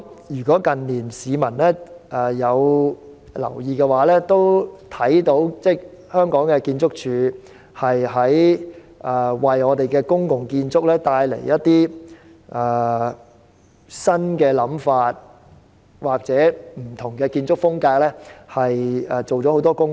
如果市民近年有留意，也看到建築署在為公共建築帶來新想法或不同建築風格方面做了很多工夫。